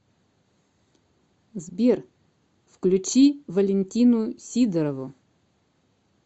сбер включи валентину сидорову